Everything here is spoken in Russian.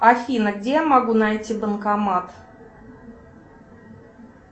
афина где я могу найти банкомат